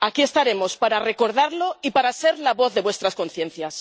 Aquí estaremos para recordarlo y para ser la voz de vuestras conciencias.